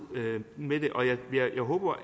med det jeg